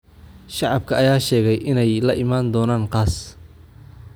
Shacabka ayaa sheegay in ay la imaan doonaan qas